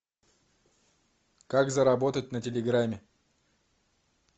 как заработать на телеграмме